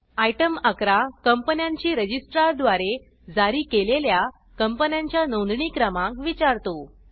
item 11 कंपन्यांची registrar द्वारे जारी केलेल्या कंपन्यांच्या नोंदणी क्रमांक विचारतो